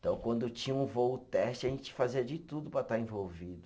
Então, quando tinha um voo teste, a gente fazia de tudo para estar envolvido.